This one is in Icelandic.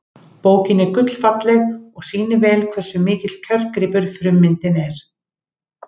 Bókin er gullfalleg og sýnir vel hversu mikill kjörgripur frummyndin er.